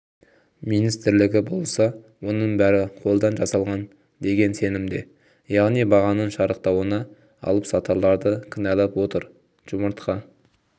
министрлігі болса оның бәрі қолдан жасалған деген сенімде яғни бағаның шарықтауына алыпсатарларды кінәлап отыр жұмыртқа